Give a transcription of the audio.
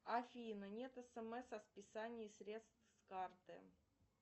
афина нет смс о списании средств с карты